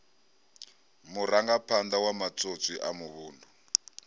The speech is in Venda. murangaphanḓa wa matswotswi a muvhundu